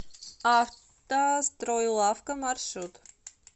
автостройлавка маршрут